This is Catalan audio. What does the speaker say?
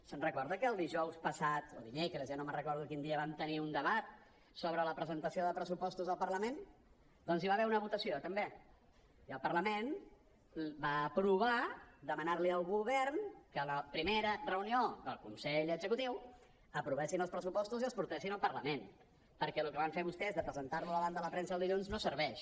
se’n recorda que dijous passat o dimecres ja no me’n recordo de quin dia vam tenir un debat sobre la presentació de pressupostos al parlament doncs hi va haver una votació també i el parlament va aprovar demanar li al govern que a la primera reunió del consell executiu aprovessin els pressupostos i els portessin al parlament perquè el que van fer vostès de presentar los davant de la premsa el dilluns no serveix